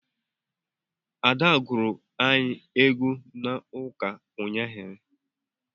Ada gụrụ anyị egwu n'ụka unyaahụ